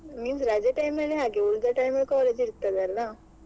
Means ರಜೆ time ಅಲ್ಲಿ ಹಾಗೆ ಉಳಿದ time ಅಲ್ಲಿ college ಇರ್ತದಲ್ಲ.